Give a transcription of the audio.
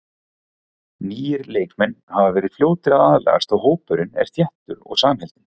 Nýir leikmenn hafa verið fljótir að aðlagast og hópurinn er þéttur og samheldinn.